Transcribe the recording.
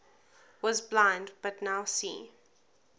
was blind but now see